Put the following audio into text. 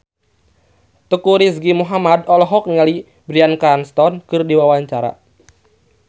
Teuku Rizky Muhammad olohok ningali Bryan Cranston keur diwawancara